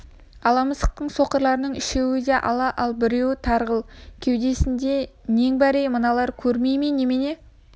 ала мысықтың соқырларының үшеуі ала да біреуі тарғыл кеудесінде нең бар ей мыналар көрмей ме немене